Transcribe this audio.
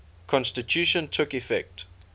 constitution took effect